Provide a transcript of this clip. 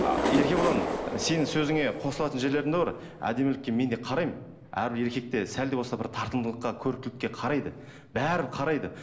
а еркебұлан сенің сөзіңе қосылатын жерлерім де бар әдемілікке мен де қараймын әрбір еркек те сәл де болса бір тартымдылыққа көріктілікке қарайды бәрібір қарайды